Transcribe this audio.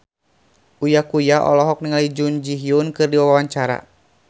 Uya Kuya olohok ningali Jun Ji Hyun keur diwawancara